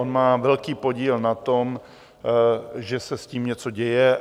On má velký podíl na tom, že se s tím něco děje.